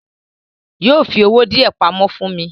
Yóò fi owó díẹ̀ pamọ́ fún mi.